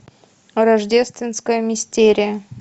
рождественская мистерия